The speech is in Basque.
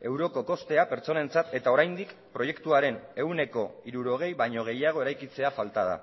euroko kostea pertsonentzat eta oraindik proiektuaren ehuneko hirurogei baino gehiago eraikitzea falta da